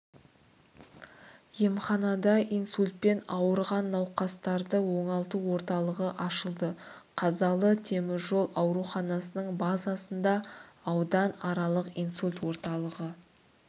емханада инсультпен ауырған науқастарды оңалту орталығы ашылды қазалы теміржол ауруханасының базасында аудан аралық инсульт орталығы